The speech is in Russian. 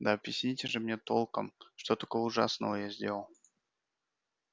да объясните же мне толком что такого ужасного я сделал